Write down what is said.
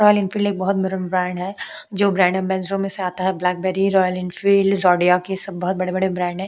Royal Enfield एक बहुत बडा ब्रँड है जो ब्रँड अम्बॅसिडर से आता है ब्लॅकबेरी रॉयल एनफिल्ड लिजॉर्डीय सब बहुत बड़े बड़े ब्रँड है।